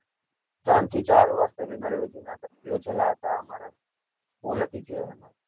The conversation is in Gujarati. ત્રણ થી ચાર વાર seminar યોજેલા હતા અમારા